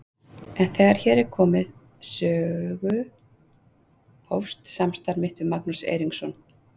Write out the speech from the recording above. En þegar hér er komið sögu hófst samstarf mitt við Magnús Eiríksson.